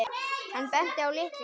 Hann benti á lykla.